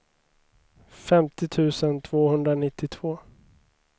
femtio tusen tvåhundranittiotvå